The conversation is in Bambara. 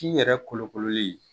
di yɛrɛ kolokololi